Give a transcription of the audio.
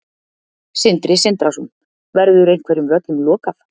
Sindri Sindrason: Verður einhverjum völlum lokað?